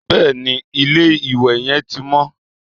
Bẹ́ẹ̀ni, ilé-ìwẹ̀ yẹn ti mọ́